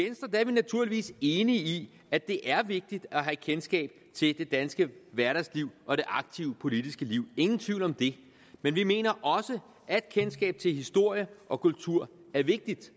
naturligvis enige i at det er vigtigt at have kendskab til det danske hverdagsliv og det aktive politiske liv ingen tvivl om det men vi mener også at kendskab til historie og kultur er vigtigt